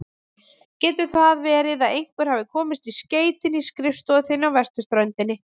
Getur það verið að einhver hafi komist í skeytin í skrifstofu þinni á vesturströndinni?